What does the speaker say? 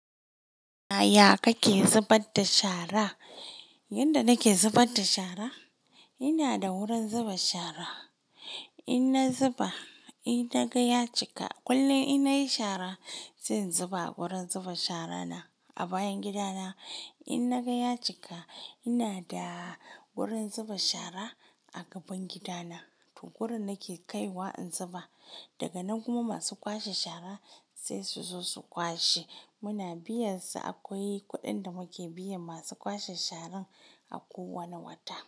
Yaya kake zubar da shara? Yanda nake zubar da shara, ina da wurin zuba shara. In na zuba, in na gaya cika, kullum in nayi shara zan zuba a wurin zuba shara na a bayan gida na. In na gaya cika, ina da wurin zuba shara a gaban gida na, to wurin nake kaiwa in zuba. Daga nan kuma masu kwashe shara sai su zo su kwashe. Muna biyan su, akwai kuɗin da muke biyan masu kwashe sharan a ko wane wata.